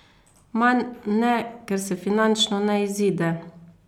Manj ne, ker se finančno ne izide.